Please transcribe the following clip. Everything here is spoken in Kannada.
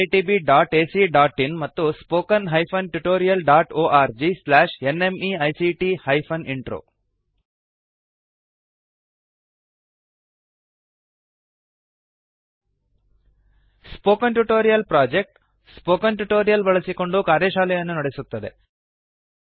oscariitbacಇನ್ ಮತ್ತು spoken tutorialorgnmeict intro spoken tutorial ಪ್ರಕಲ್ಪವು ಸ್ಪೋಕನ್ ಟ್ಯುಟೋರಿಯಲ್ಸ್ ಬಳಸಿಕೊಂಡು ಕಾರ್ಯಶಾಲೆಗಳನ್ನು ನಡೆಸುತ್ತದೆ